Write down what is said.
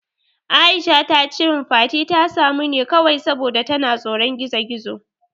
Aisha tace min Fati ta samu ne kawai saboda tana tsoron gizo-gizo.